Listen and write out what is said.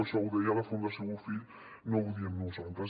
això ho deia la fundació bofill no ho diem nosaltres